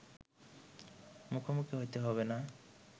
মুখোমুখি হতে হবে না